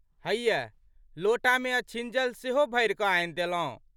हेइयै लोटामे अछिञ्जल सेहो भरिकऽ आनि देलौं।